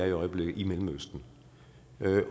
i øjeblikket i mellemøsten